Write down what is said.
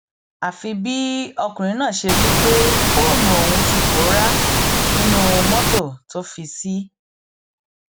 àfi bí ọkùnrin náà ṣe rí i pé fóònù òun ti pòórá nínú mọtò tó fi ṣí